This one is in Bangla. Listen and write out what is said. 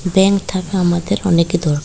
ব্যাঙ্ক থাকা আমাদের অনেকই দরকা--